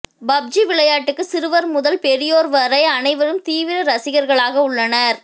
PUBG விளையாட்டுக்கு சிறுவர் முதல் பெரியோர் வரை அனைவரும் தீவிர ரசிகர்களாக உள்ளனர்